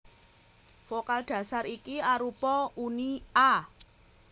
Vokal dhasar iki arupa uni a